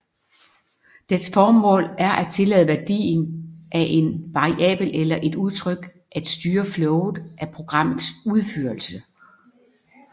Dets formål er at tillade værdien af en variabel eller et udtryk at styre flowet af programmets udførelse